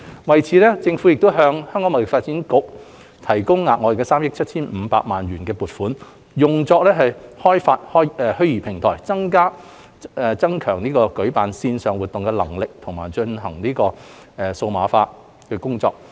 為此，政府已向香港貿易發展局提供額外3億 7,500 萬元的撥款，用作開發虛擬平台，增強舉辦線上活動的能力及進行數碼化。